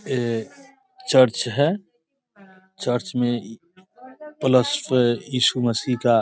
ये चर्च है | चर्च में प्लस ईशु मसीह का |